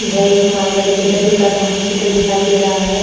यह एक मालगाड़ी के डब्बे का समूहित चित्र दिखाई दे रहा है।